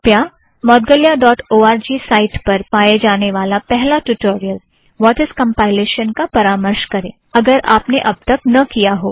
कृपया मौदगल्या dot O R G site पर पाए जाने वाला spoken tutorial - what is compilation - का परामर्श करें अगर आपने अब तक न किया हो